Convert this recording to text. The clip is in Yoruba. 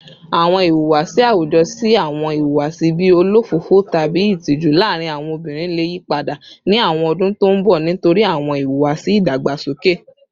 Awọn ihuwasi awujọ si awọn ihuwasi bii olofofo tabi itiju laarin awọn obinrin le yipada ni awọn ọdun to n bọ nitori awọn iwuwasi idagbasoke